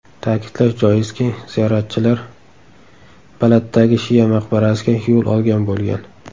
Ta’kidlash joizki, ziyoratchilar Baladdagi shia maqbarasiga yo‘l olgan bo‘lgan.